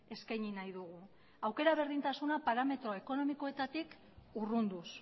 eskaini nahi dugu aukera berdintasuna parametro ekonomikoetatik urrunduz